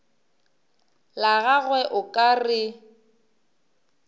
la gagwe o ka re